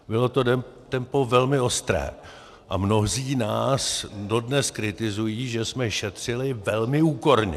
Bylo to tempo velmi ostré a mnozí nás dodnes kritizují, že jsme šetřili velmi úporně.